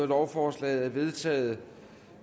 lovforslaget er vedtaget